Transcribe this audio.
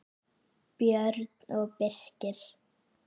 Björn og Birkir.